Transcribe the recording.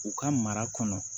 U ka mara kɔnɔ